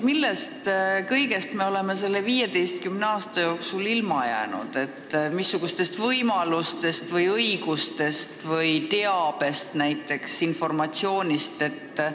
Millest kõigest me oleme selle 15 aasta jooksul ilma jäänud –missugustest võimalustest, õigustest või näiteks teabest, informatsioonist?